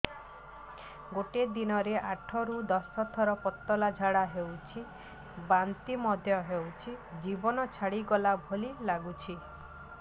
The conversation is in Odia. ଗୋଟେ ଦିନରେ ଆଠ ରୁ ଦଶ ଥର ପତଳା ଝାଡା ହେଉଛି ବାନ୍ତି ମଧ୍ୟ ହେଉଛି ଜୀବନ ଛାଡିଗଲା ଭଳି ଲଗୁଛି